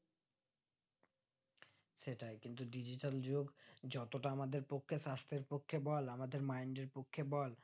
সেটাই কিন্তু digital যুগে যতটা আমাদের পক্ষে সাস্টের পক্ষে বল আমাদের mind এর পক্ষে বল